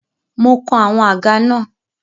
Mo kan àwọn àga náà.